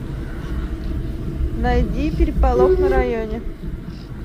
найди переполох на районе